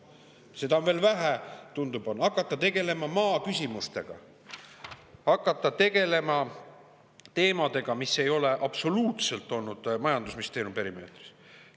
Seda on veel vähe, tundub, tuleb hakata tegelema ka maaküsimustega, tuleb hakata tegelema teemadega, mis ei ole absoluutselt olnud majandusministeeriumi perimeetris.